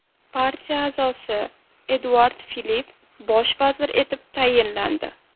Partiya a’zosi Eduard Filipp bosh vazir etib tayinlandi.